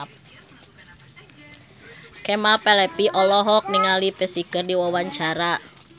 Kemal Palevi olohok ningali Psy keur diwawancara